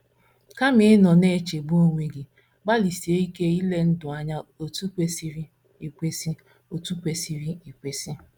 Kama ịnọ na - echegbu onwe gị, gbalịsie ike ile ndụ anya otú kwesịrị ekwesị otú kwesịrị ekwesị.